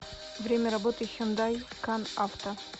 время работы хюндай кан авто